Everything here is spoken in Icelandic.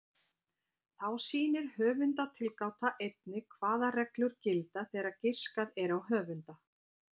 Þá sýnir höfundatilgáta einnig hvaða reglur gilda þegar giskað er á höfunda.